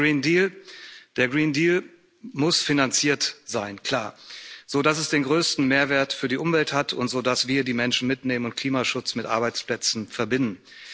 Zum Green Deal Der Green Deal muss finanziert sein, klar, so, dass es den größten Mehrwert für die Umwelt hat, und so, dass wir die Menschen mitnehmen und Klimaschutz mit Arbeitsplätzen verbinden.